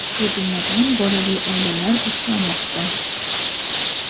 shu jumladan bolali oilalar uchramoqda.